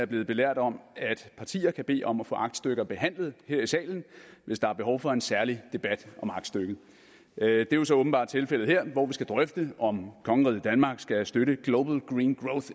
blevet belært om at partier kan bede om at få aktstykker behandlet her i salen hvis der er behov for en særlig debat om aktstykket det er jo så åbenbart tilfældet her hvor vi skal drøfte om kongeriget danmark skal støtte the global green